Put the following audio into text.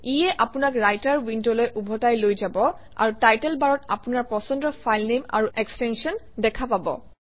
ইয়ে আপোনাক ৰাইটাৰ উইণ্ডলৈ ওভটাই লৈ যাব আৰু টাইটেল বাৰত আপোনাৰ পছন্দৰ ফাইলনেম আৰু এক্সটেনশ্যন দেখা পাব